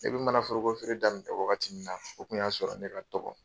Ne bɛ mana foroko feere daminɛ wagati min na , o tun y'a sɔrɔ ne ka dɔgɔ.